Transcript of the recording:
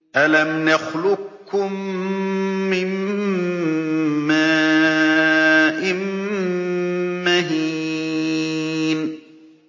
أَلَمْ نَخْلُقكُّم مِّن مَّاءٍ مَّهِينٍ